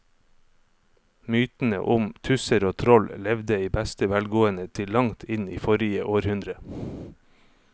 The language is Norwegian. Mytene om tusser og troll levde i beste velgående til langt inn i forrige århundre.